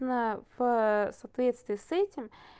на в соответствии с этим